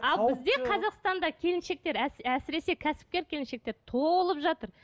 ал бізде қазақстанда келіншектер әсіресе кәсіпкер келіншектер толып жатыр